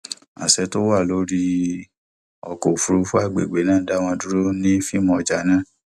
àṣẹ tó wà lórí ọkọ òfuurufú agbègbè náà dá wọn dúró ní fíìmù ọjà náà